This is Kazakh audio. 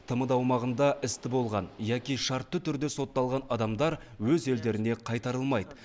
тмд аумағында істі болған яки шартты түрде сотталған адамдар өз елдеріне қайтарылмайды